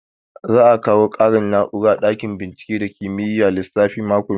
Za a kawo ƙarin na'ura a ɗakin bincike ba kimiyyar lissafi mako mai zuwa